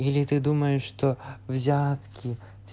или ты думаешь что взятки